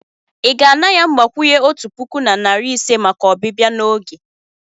ị ga-ana ya mgbakwunye otu puku na narị ise maka ọbịbịa n'oge.